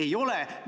Ei ole sedasi.